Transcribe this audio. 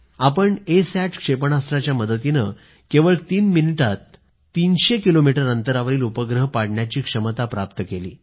आपण ASAT क्षेपणास्त्राच्या मदतीनं केवळ तीन मिनिटात 300 किलोमीटर अंतरावरील उपग्रह पाडण्याची क्षमता प्राप्त केली